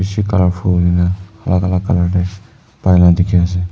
bisi colourful na alag alag colour te pai laga dekhi ase.